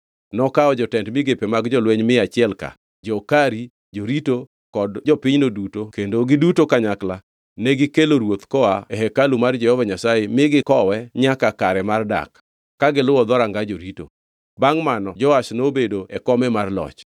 Nokawo jotend migepe mag jolweny mia achiel-ka, jo-Kari, jorito kod jopinyno duto kendo giduto kanyakla negikelo ruoth koa e hekalu mar Jehova Nyasaye mi gikowe nyaka kare mar dak, ka giluwo dhoranga jorito. Bangʼ mano Joash nobedo e kome mar loch.